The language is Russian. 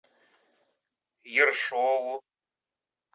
ершову